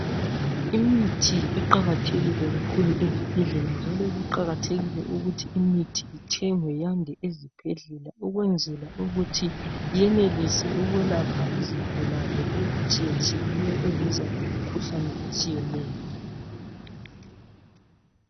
Imithi iqakathekile kakhulu ezibhedlela njalo kuqakathekile ukuthi imithi ithengwe yande ezibhedlela ukwenzela ukuthi yenelise ukwelapha izigulane ezitshiyetshiyeyo eziza lemkhuhlane etshiyeneyo.